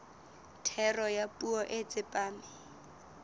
thero ya puo e tsepame